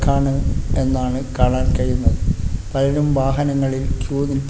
കാണ് എന്നാണ് കാണാൻ കഴിയുന്നത് പലരും വാഹനങ്ങളിൽ ക്യൂ നിൽ--